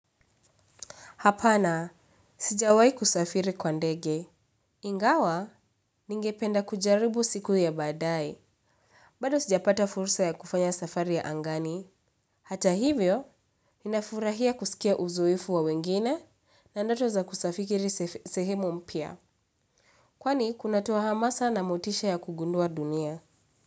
Hapana, sijawai kusafiri kwa ndege. Ingawa, ningependa kujaribu siku ya badae. Bado sijapata fursa ya kufanya safari ya angani. Hata hivyo, ninafurahia kusikia uzoifu wa wengine na ndoto za kusafiri sehemu mpia. Kwani, kunatowa hamasa na motisha ya kugundua dunia.